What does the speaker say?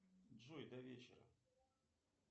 джой до вечера